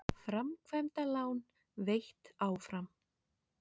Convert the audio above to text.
Framkvæmdalán veitt áfram